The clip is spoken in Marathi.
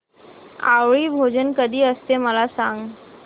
आवळी भोजन कधी असते मला सांग